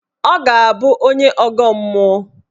Ọ ga-abụ onye ọgọ mmụọ.